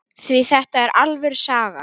Því þetta er alvöru saga.